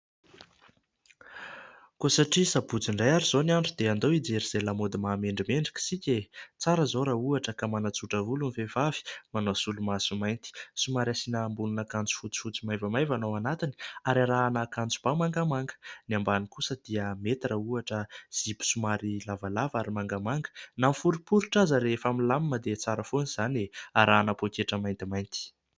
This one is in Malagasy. Koa satria sabotsy indray ary izao ny andro dia andao hijery izay lamaody mahamendrimendrika isika e ! Tsara zao raha ohatra ka manatsotra volo ny vehivavy, manao solomaso mainty somary asiana ambonin'akanjo fotsifotsy maivamaivana ao anatiny ary arahana akanjo ba mangamanga ny ambany kosa dia mety raha ohatra zipo somary lavalava ary mangamanga na miforiporitra aza rehefa milamima dia tsara foana izany e ! Arahana poketra maintimainty